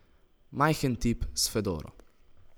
Majhen tip s fedoro.